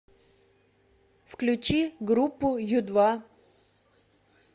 включи группу ю два